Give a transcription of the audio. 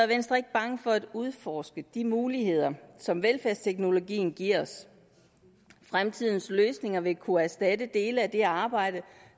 venstre ikke bange for at udforske de muligheder som velfærdsteknologien giver os fremtidens løsninger vil kunne erstatte dele af det arbejde